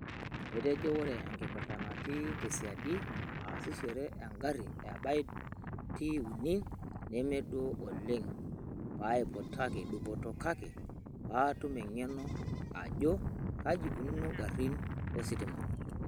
Etejo oree enkipirta natii tesiadi aasishore egarii e BYD T3 nemeduo oleng paaiputaki dupoto kake paatum engeno ajoo kajii eikununo ingarini ositima.